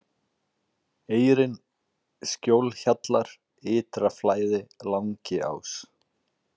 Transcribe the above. Eyrin, Skjólhjallar, Ytra-Flæði, Langiás